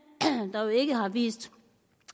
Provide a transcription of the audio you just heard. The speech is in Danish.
der jo ikke har vist